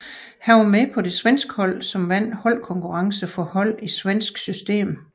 Han var med på det svenske hold som vandt holdkonkurrencen for hold i svensk system